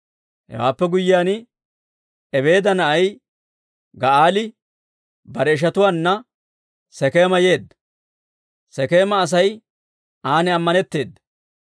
Hewaappe guyyiyaan, Ebeeda na'ay Ga'aali bare ishatuwaanna Sekeema yeedda; Sekeema Asay an ammanetteeda.